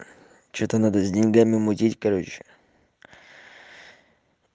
что-то надо с деньгами мутить короче